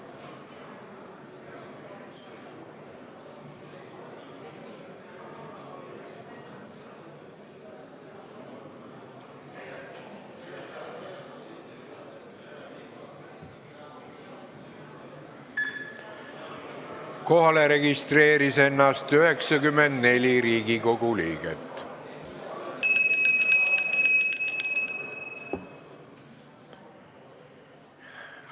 Kohaloleku kontroll Kohalolijaks registreeris ennast 94 Riigikogu liiget.